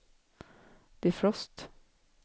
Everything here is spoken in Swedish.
defrost